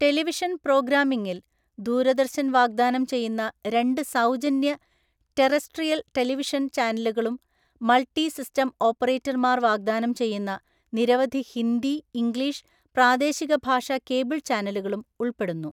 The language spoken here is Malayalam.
ടെലിവിഷൻ പ്രോഗ്രാമിംഗിൽ ദൂരദർശൻ വാഗ്ദാനം ചെയ്യുന്ന രണ്ട് സൗജന്യ ടെറസ്ട്രിയൽ ടെലിവിഷൻ ചാനലുകളും മൾട്ടി സിസ്റ്റം ഓപ്പറേറ്റർമാർ വാഗ്ദാനം ചെയ്യുന്ന നിരവധി ഹിന്ദി, ഇംഗ്ലീഷ്, പ്രാദേശിക ഭാഷാ കേബിൾ ചാനലുകളും ഉൾപ്പെടുന്നു.